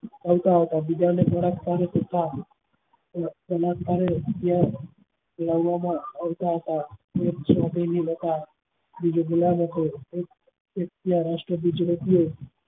આવતા હતા બીજા ને લાવવા માં આવતા હતા બીજો ગુલામ હતો એક ત્યાં રાષ્ટ્રધ્વજ ને નીકળતા હતા